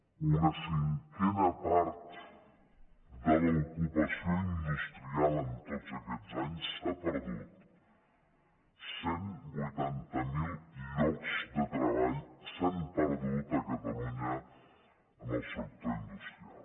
una cinquena part de l’ocupació industrial en tots aquests anys s’ha perdut cent i vuitanta miler llocs de treball s’han perdut a catalunya en el sector industrial